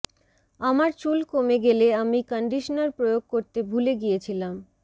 আমার চুল কমে গেলে আমি কন্ডিশনার প্রয়োগ করতে ভুলে গিয়েছিলাম